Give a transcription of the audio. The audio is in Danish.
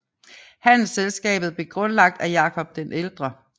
Handelsselskabet blev grundlagt af Jakob den ældre